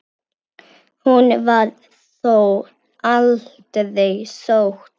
Hún var þó aldrei sótt.